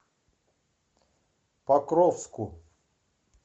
покровску